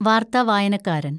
വാര്‍ത്ത വായനക്കാരന്‍